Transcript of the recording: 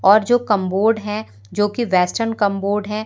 और जो कंबोर्ड हैं जोकि वेस्टर्न कंबोर्ड हैं।